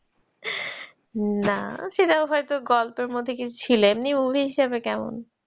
না সেটা হয়তো গল্পের মধ্যে কিছু ছিলেন, এমনি movie হিসেবে কেমন?